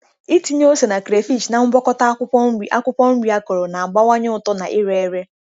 Ịtinye ose na crayfish na ngwakọta akwukwo nri akwukwo nri akọrọ na-abawanye uto na ire ere.